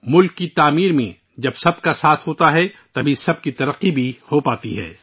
قوم کی تعمیر کے عمل میں اجتماعی ترقی سب کے تعاون سے ہی ممکن ہے